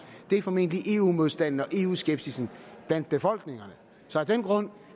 formentlig er eu modstanden og eu skepsisen blandt befolkningerne så af den grund